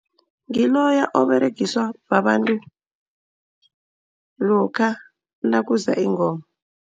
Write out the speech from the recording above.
Ngiloya oberegiswa babantu lokha nakuza ingoma.